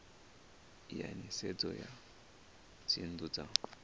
ya nisedzo ya dzinnu dza